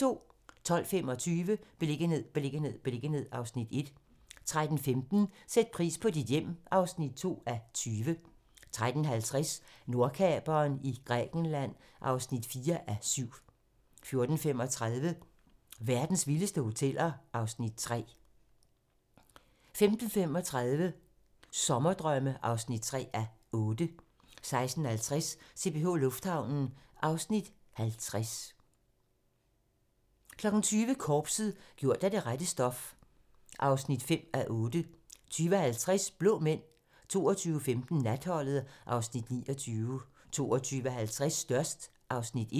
12:25: Beliggenhed, beliggenhed, beliggenhed (Afs. 1) 13:15: Sæt pris på dit hjem (2:20) 13:50: Nordkaperen i Grækenland (4:7) 14:35: Verdens vildeste hoteller (Afs. 3) 15:35: Sommerdrømme (3:8) 16:50: CPH Lufthavnen (Afs. 50) 20:00: Korpset - gjort af det rette stof (5:8) 20:50: Blå Mænd 22:15: Natholdet (Afs. 29) 22:50: Størst (Afs. 1)